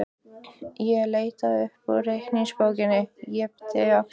Ég leit upp úr reikningsbókinni, yppti öxlum.